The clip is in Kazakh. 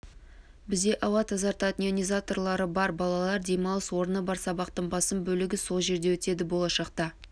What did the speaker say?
бізде ауа тазартатын ионизаторлары бар балалар демалыс орны бар сабақтың басым бөлігі сол жерде өтеді болашақта